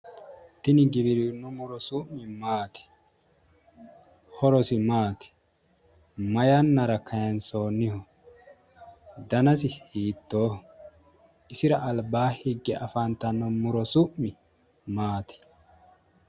Tini giwirinnu muro su'mi maati? horosi maati? Mayannara kaayiinsonniho? Danasi hiittoho? isira albaa higge afantanno muro su'mi maati?